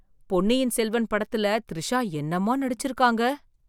பொன்னியின் செல்வன் படத்தில் திரிஷா என்னமா நடிச்சிருக்காங்க!